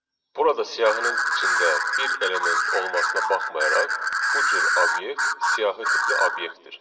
Burada siyahının içində bir element olmasına baxmayaraq, bu cür obyekt siyahı tipli obyektdir.